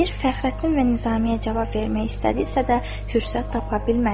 Əmir Fəxrəddin və Nizamiyə cavab vermək istədisə də fürsət tapa bilmədi.